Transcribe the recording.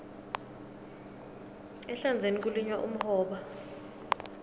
ehlandzeni kulinywa umhoba